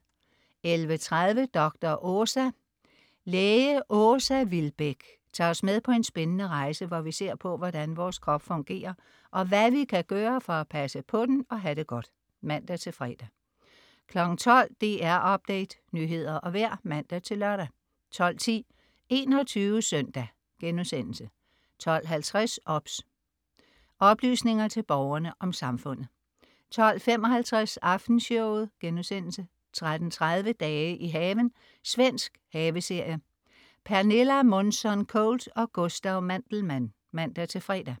11.30 Dr. Åsa. Læge Åsa Vilbäck tager os med på en spændende rejse, hvor vi ser på hvordan vores krop fungerer og hvad vi kan gøre for at passe på den og have det godt (man-fre) 12.00 DR Update. Nyheder og vejr (man-lør) 12.10 21 SØNDAG* 12.50 OBS. OBS. Oplysninger til Borgerne om Samfundet 12.55 Aftenshowet* 13.30 Dage i haven. Svensk haveserie. Pernilla Månsson Colt og Gustav Mandelmann (man-fre)